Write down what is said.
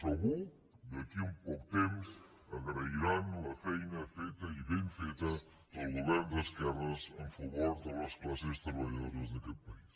segur d’aquí a un poc temps agrairan la feina feta i ben feta del govern d’esquerres en favor de les classes treballadores d’aquest país